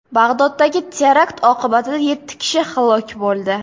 Bag‘doddagi terakt oqibatida yetti kishi halok bo‘ldi.